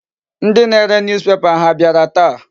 Ndị na-are newspaper ha abịara taa?